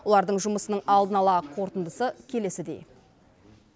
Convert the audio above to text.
олардың жұмысының алдын ала қорытындысы келесідей